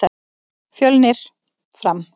Fjölnir- Fram